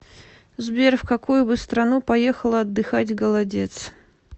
сбер в какую бы страну поехала отдыхать голодец